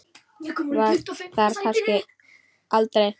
Var þar kannski aldrei?